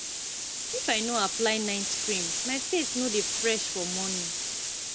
if i no apply night cream my face no dey fresh for morning